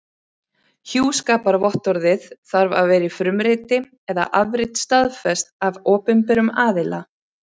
Hjúskaparvottorðið þarf að vera í frumriti eða afrit staðfest af opinberum aðila.